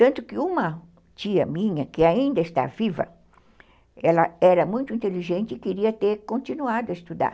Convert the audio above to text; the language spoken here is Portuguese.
Tanto que uma tia minha, que ainda está viva, ela era muito inteligente e queria ter continuado a estudar.